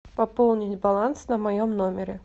пополнить баланс на моем номере